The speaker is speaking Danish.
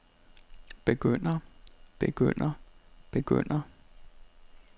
begynder begynder begynder